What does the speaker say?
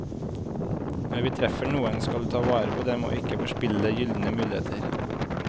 Når vi treffer noen, skal vi ta vare på dem og ikke forspille gyldne muligheter.